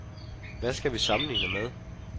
Hvad skal vi sammenligne med?